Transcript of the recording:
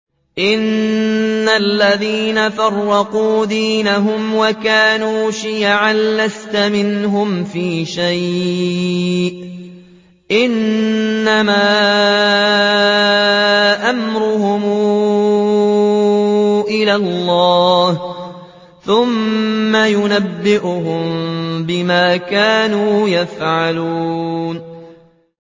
إِنَّ الَّذِينَ فَرَّقُوا دِينَهُمْ وَكَانُوا شِيَعًا لَّسْتَ مِنْهُمْ فِي شَيْءٍ ۚ إِنَّمَا أَمْرُهُمْ إِلَى اللَّهِ ثُمَّ يُنَبِّئُهُم بِمَا كَانُوا يَفْعَلُونَ